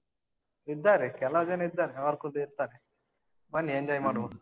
ಇದ್ದಾರೆ ಕೆಲವ್ ಜನ ಇದ್ದಾರೆ. ಅವರ ಕೂಡಾ ಇರ್ತಾರೆ. ಬನ್ನಿ enjoy ಮಾಡುವ.